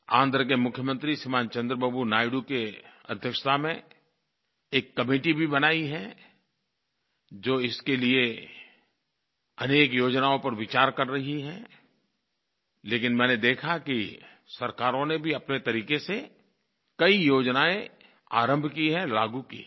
आंध्र के मुख्यमंत्री श्रीमान् चंद्रबाबू नायडू की अध्यक्षता में एक कमिटी भी बनाई है जो इसके लिये अनेक योजनाओं पर विचार कर रही है लेकिन मैंने देखा कि सरकारों ने भी अपने तरीक़े से कई योजनाएँ लागू की है आरंभ की है